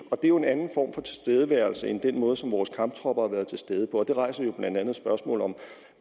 det er jo en anden form for tilstedeværelse end den måde som vores kamptropper har været til stede på og det rejser jo blandt andet spørgsmålet om